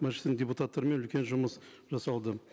мәжілістің депутаттарымен үлкен жұмыс жасалды